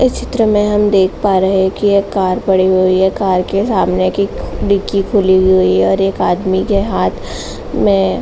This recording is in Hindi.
इस चित्र मे हम देख पा रहे हैं की एक कार पड़ी हुई है। कार के सामने की डिक्की खुली हुई है और एक आदमी के हाथ में --